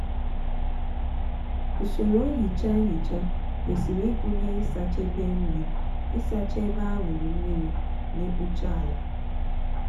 usoro nhicha nhicha kwesịrị ịgụnye ịsacha ebe nri ịsacha ebe aṅụrị mmiri na ịkpụcha ala.